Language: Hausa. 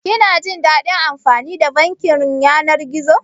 Kina jin daɗin amfani da bankin yanar gizo?